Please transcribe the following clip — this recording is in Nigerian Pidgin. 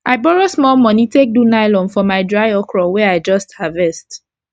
i borrow small moni take do nylon for my dry okro wey i just harvest